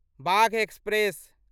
Bagh express